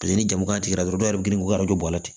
Paseke ni jamukan tɛ dɔw yɛrɛ bɛ girin ka don a la ten